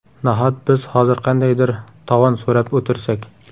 Nahot biz hozir qandaydir tovon so‘rab o‘tirsak?